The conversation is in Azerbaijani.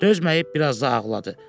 Dözməyib biraz da ağladı.